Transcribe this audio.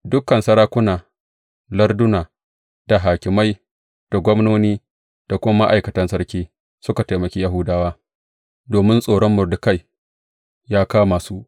Dukan sarakuna larduna, da hakimai, da gwamnoni da kuma ma’aikatan sarki suka taimaki Yahudawa, domin tsoron Mordekai ya kama su.